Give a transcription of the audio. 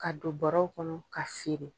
Ka don bɔrɔw kɔnɔ ka